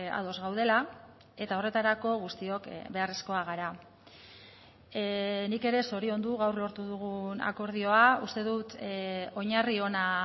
ados gaudela eta horretarako guztiok beharrezkoak gara nik ere zoriondu gaur lortu dugun akordioa uste dut oinarri ona